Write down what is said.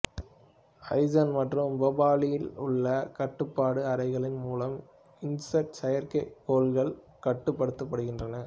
ஹசன் மற்றும் போபாலில் உள்ள கட்டுப்பாட்டு அறைகளின் மூலம் இன்சாட் செயற்கைக்கோள்கள் கட்டுப்படுத்தப்படுகின்றன